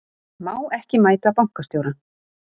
Má ekki mæta bankastjóra